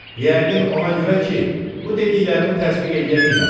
Yəqin ona görə ki, bu dediklərimi təsdiq eləyə bilməsin.